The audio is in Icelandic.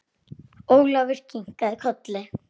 Ólafur kinkaði kolli.